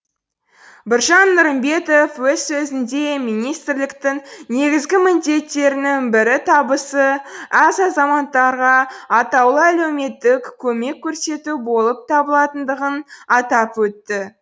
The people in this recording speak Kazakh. біржан нұрымбетов өз сөзінде министрліктің негізгі міндеттерінің бірі табысы аз азаматтарға атаулы әлеуметтік көмек көрсету болып табылатындығын атап өтті